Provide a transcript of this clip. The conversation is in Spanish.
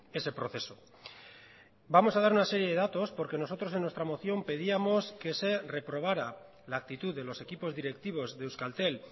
ese proceso vamos a dar una serie de datos porque nosotros en nuestra moción pedíamos que se reprobará la actitud de los equipos directivos de euskaltel